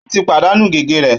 Ó ti pàdánù gègé rẹ̀